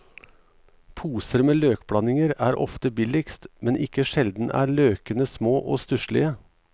Poser med løkblandinger er ofte billigst, men ikke sjelden er løkene små og stusslige.